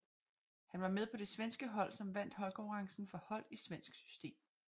Han var med på det svenske hold som vandt holdkonkurrencen for hold i svensk system